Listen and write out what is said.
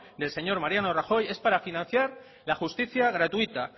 del señor mariano rajoy es para financiar la justicia gratuita